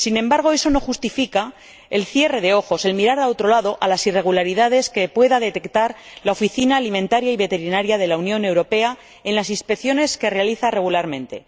sin embargo, eso no justifica el cierre de ojos, el mirar a otro lado, ante las irregularidades que pueda detectar la Oficina Alimentaria y Veterinaria de la Unión Europea en las inspecciones que realiza regularmente.